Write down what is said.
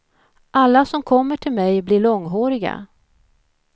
Alla som kommer till mig blir långhåriga.